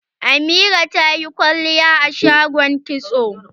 Amira ta yi kwalliya a shagon kitso.